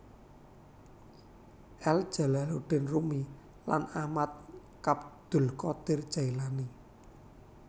El Jalaluddin Rumi lan Ahmad Abdul qodir Jaelani